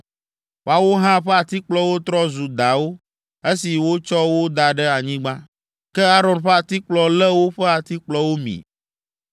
Woawo hã ƒe atikplɔwo trɔ zu dawo esi wotsɔ wo da ɖe anyigba. Ke Aron ƒe atikplɔ lé woƒe atikplɔwo mi.